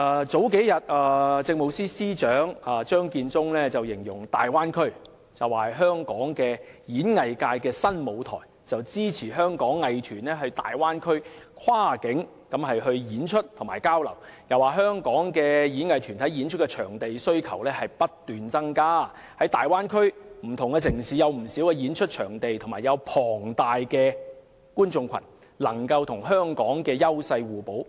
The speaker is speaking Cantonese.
數天前，政務司司長張建宗形容粵港澳大灣區是香港演藝界的新舞台，支持香港藝團前往大灣區跨境演出及交流，又說道香港的演藝團體對演出場地的需求不斷增加，而大灣區的不同城市有不少演出場地及龐大的觀眾群，能夠與香港優勢互補。